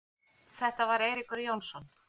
Þetta var Eiríkur Jónsson.